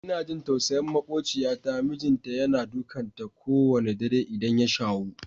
Ina jin tausayin maƙociyata, mijinta yana dukan ta ko wanna dare idan ya shawo.